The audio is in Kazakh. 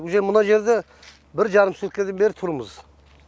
уже мына жерде бір жарым суткадан бері тұрмыз